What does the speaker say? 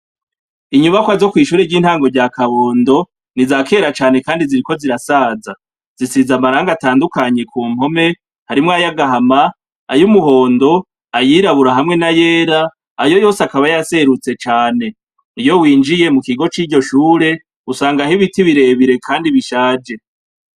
Inyubakwa zo kw'ishuri ry'intango rya Kabondo ,ni izakera cane kandi ziriko zirasaza. Zisize amarangi atandukanye ku mpome, harimwo ayagahama ,ay'umuhondo ,ayirabura ,hamwe n'ayera. Ayo yose akaba yaserutse cane, iyo winjiye mu kigo c'iryoshure, usanga aho ibiti birebire kandi bishaje.